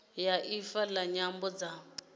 ya ifa la nyambo dza